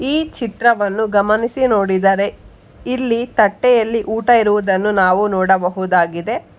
ಈ ಚಿತ್ರವನ್ನು ಗಮನಿಸಿ ನೋಡಿದರೆ ಇಲ್ಲಿ ತಟ್ಟೆಯಲ್ಲಿ ಊಟ ಇರುವುದನ್ನು ನಾವು ನೋಡಬಹುದು ಆಗಿದೆ.